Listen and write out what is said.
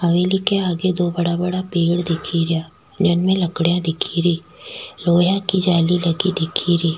हवेली के आगे दो बड़ा बड़ा पेड़ दिख रा जिनमे लकड़ियां दिख री लोहा की जाली लगी दिख री।